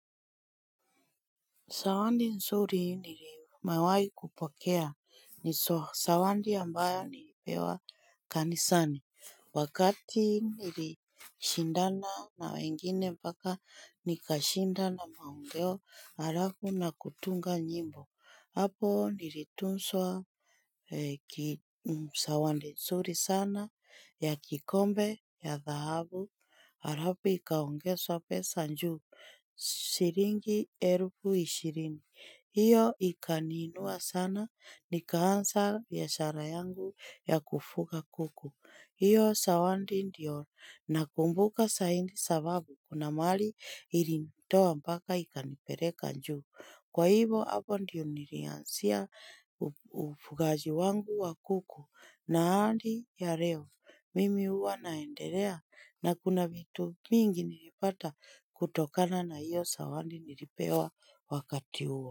Zawadi nzuri ni mewaikupokea ni sawadi ambayo nilipewa kanisani. Wakati nilishindana na wengine mpaka nikashinda na maongeo alafu na kutunga njimbo. Hapo nlituzwa zawadi nzuri sana ya kikombe cha dhahabu alafu ikaongezwa pesa juu, shilingi elfu ishirini hiyo ikaniinua sana nikaanza biashara yangu ya kufuga kuku. Hiyo zawadi ndio nakumbuka zaidi kwa sababu kuna mahali ilinitoa mpaka ikanipleka juu. Kwa hivyo hapo ndio nilianzia ufugaji wangu wa kuku na hadi ya leo. Mimi hua naendelea, na kuna vitu mingi nilipata kutokana na hiyo sawadi nilipewa wakati huo.